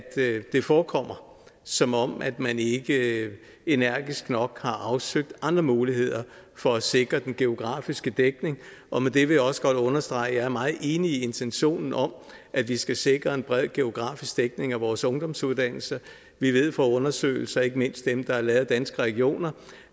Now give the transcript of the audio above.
det forekommer som om at man ikke energisk nok har afsøgt andre muligheder for at sikre den geografiske dækning og med det vil jeg også godt understrege at jeg er meget enig i intentionen om at vi skal sikre en bred geografisk dækning af vores ungdomsuddannelser vi ved fra undersøgelser ikke mindst dem der er lavet af danske regioner